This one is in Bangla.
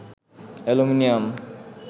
অ্যালুমিনিয়াম